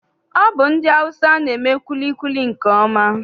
Ọ bụ ndị Awụsa na-eme kwilikwili nke ọma.